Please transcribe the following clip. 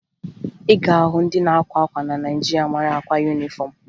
Ị ga-ahụ ndị na-akwa akwa na Naịjirịa mara akwa yunifọmụ